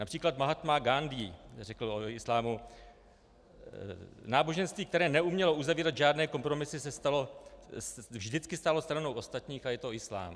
Například Mahátma Gándhí řekl o islámu: Náboženství, které neumělo uzavírat žádné kompromisy, vždycky stálo stranou ostatních a je to islám.